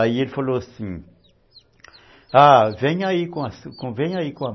Aí ele falou assim, vem aí com a , vem aí com a